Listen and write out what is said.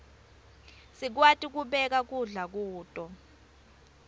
sikwati kubeka kudla kuto